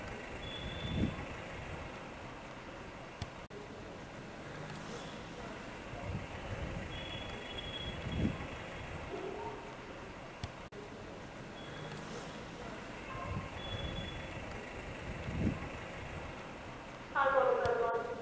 আর বলো তারপর